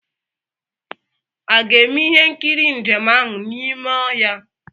A ga-eme ihe nkiri njem ahụ n'ime ọhịa?